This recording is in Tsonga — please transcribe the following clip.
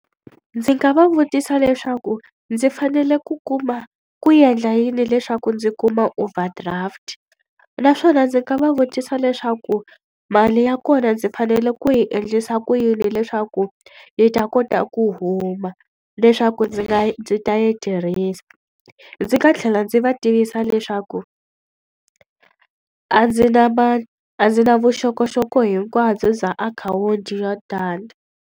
Ndzi nga va vutisa leswaku ndzi fanele ku kuma ku endla yini leswaku ndzi kuma overdraft? Naswona ndzi nga va vutisa leswaku mali ya kona ndzi fanele ku yi endlisa ku yini leswaku yi ta kota ku huma leswaku ndzi nga yi ndzi ta yi tirhisa? Ndzi nga tlhela ndzi va vutisa leswaku a ndzi na a ndzi na vuxokoxoko hinkwabyo bya akhawunti yo tani.